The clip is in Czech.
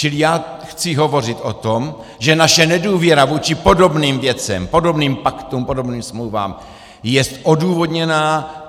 Čili já chci hovořit o tom, že naše nedůvěra vůči podobným věcem, podobným paktům, podobným smlouvám jest odůvodněná.